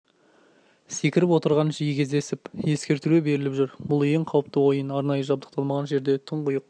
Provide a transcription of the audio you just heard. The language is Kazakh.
секіріп отырғанын жиі кездесіп ескертулер беріліп жүр бұл ең қауіпті ойын арнайы жабдықталмаған жерде тұңғиық